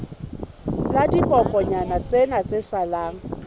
la dibokonyana tsena tse salang